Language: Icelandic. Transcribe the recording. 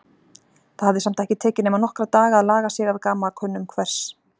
Það hafði samt ekki tekið nema nokkra daga að laga sig að gamalkunnum hvers